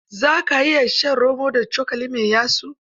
Za ka iya shan romo da cokali mai yatsu?